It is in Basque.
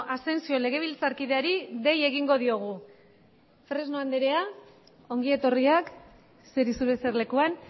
asensio legebiltzarkideari dei egingo diogu fresno anderea ongi etorria eseri zure eserlekuan